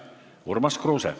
Urmas Kruuse.